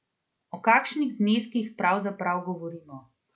O kakšnih zneskih pravzaprav govorimo?